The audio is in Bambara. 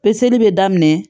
Peseli bɛ daminɛ